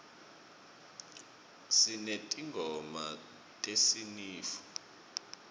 sinetingoma tesinifu